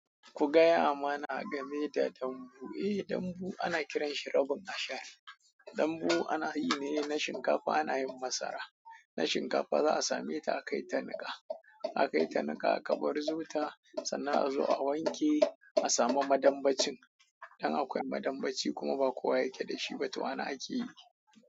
Ku gaya mana game da dambu. Eh, dambu ana kiranshi rabin ashar. Dambu ana yi ne na shinkafa ana yin masara. Na shinkafa za a same ta a kai ta nika. A kai ta nika aka barzo ta sannan a zo a wanke a samu madambacin. Dan akwai madambaci kuma ba kowa yake da shi ba to ana akeyi.